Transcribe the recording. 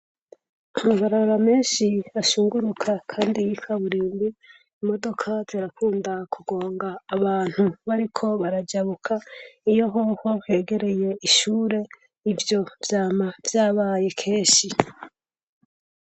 Amabarara menshi hashunguruka, kandi yikaburinde imodoka zirakunda kugonga abantu bariko barajabuka iyo hoho kegereye ishure ivyo vyama vyabaye kenshi.